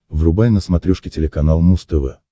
врубай на смотрешке телеканал муз тв